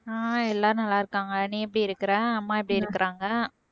ஆஹ் எல்லாரும் நல்லா இருக்காங்க நீ எப்படி இருக்கற அம்மா எப்படி இருக்கறாங்க